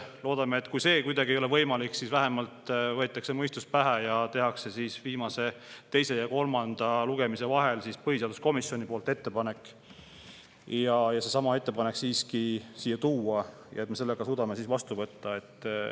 Loodame, et kui see ei ole kuidagi võimalik, siis vähemalt võetakse mõistus pähe ning tehakse teise ja kolmanda lugemise vahel põhiseaduskomisjoni poolt ettepanek seesama ettepanek siiski siia tuua ja me suudame selle ka siis vastu võtta.